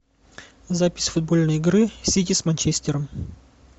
запись футбольной игры сити с манчестером